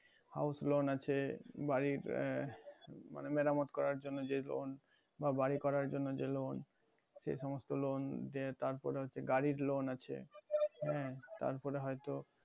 house loan আছে বাড়ির আহ মানে মেরামত করার জন্য যে loan বা বাড়ি করার জন্য যে loan সে সমস্ত loan যে তারপর আছে গাড়ির loan আছে হ্যাঁ তারপর হয়তো